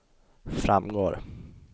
framgår